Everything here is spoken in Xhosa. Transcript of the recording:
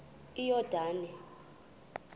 iyordane